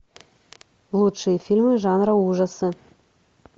лучшие фильмы жанра ужасы